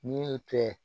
N'i y'o kɛ